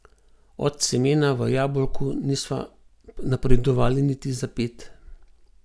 Od semena v jabolku nisva napredovali niti za ped.